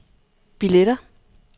billetter